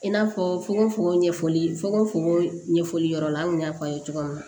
I n'a fɔ fokon fokon ɲɛfɔli fonon ɲɛfɔli yɔrɔ la an kun y'a fɔ a ye cogoya min na